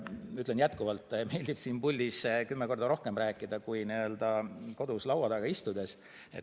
Kuigi minule jätkuvalt meeldib siin puldis kümme korda rohkem rääkida kui kodus laua taga istudes.